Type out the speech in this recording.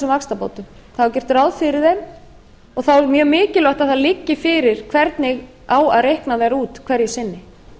vaxtabótum og þá er mjög mikilvægt að það liggi fyrir hvernig á að reikna þær út hverju sinni